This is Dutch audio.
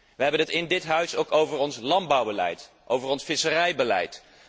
Wij hebben het in dit huis ook over ons landbouwbeleid en over ons visserijbeleid.